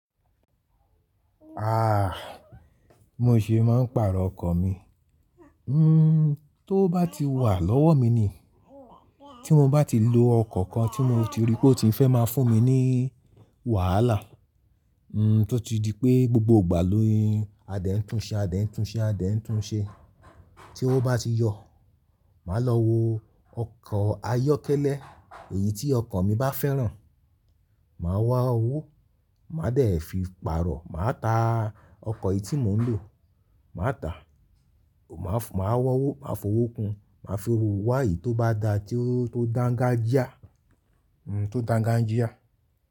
Ah! —Mo ṣe máa ń pàrọ̀ ọkọ̀ mi. N towó bá ti wà lọ́wọ́ mi ni, —tí mo bá ti lo ọkọ̀ kan tí mo ti ríi pé ó ti fẹ́ máa fún mi ní —wàhálà, —n tótí di pé gbogbo ìgbà ni-in a dé ń tunṣe, a dé ń tunṣe, a dé ń tunṣe. Tí owo bá ti yọ, màá lọ wo ọkọ̀ ayọ́kẹ́lẹ́ èyí tí ọkàn mi bá fẹ́ràn. Màá wá owó, màá dẹ̀ fi pàrọ̀, màá ta ọkọ̀ yìí tí mò ń lò. Màá tàá, —màá wọ́wọ́, màá fowó kun, màá fi owó wá eyi tó bá dáa tí ó dáńgájíà n tí ó dáńgájíà.